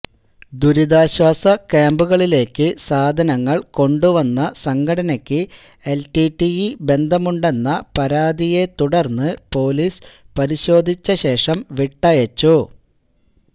ദുരിതാശ്വാസ ക്യാമ്പുകളിലേക്ക് സാധനങ്ങൾ കൊണ്ടുവന്ന സംഘടനക്ക് എല്ടിടിഇ ബന്ധമുണ്ടെന്ന പരാതിയെ തുടർന്ന് പൊലീസ് പരിശോധിച്ച ശേഷം വിട്ടയച്ചു